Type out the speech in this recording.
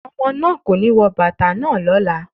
Ọmọbìnrin náà kò ní wọ bàtà náà lọ́la.